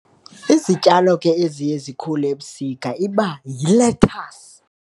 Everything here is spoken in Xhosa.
Izityalo ke eziye zikhule ebusika iba yilethasi.